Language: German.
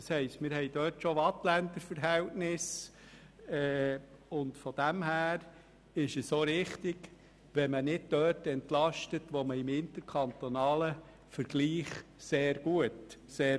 Das heisst, wir haben in diesem Bereich schon Waadtländer Verhältnisse, und es ist richtig, dass man nicht dort entlastet, wo wir im interkantonalen Vergleich sehr gut dastehen.